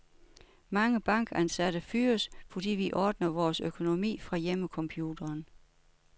Mange bankansatte fyres, fordi vi ordner vores økonomi fra hjemmecomputeren.